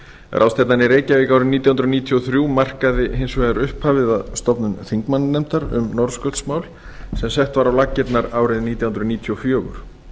í reykjavík árið nítján hundruð níutíu og þrjú markaði hins vegar upphafið að stofnun þingmannanefndar um norðurskautsmál sem sett var á laggirnar árið nítján hundruð níutíu og fjögur